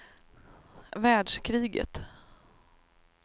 världskriget